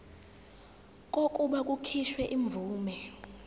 kokuba kukhishwe imvume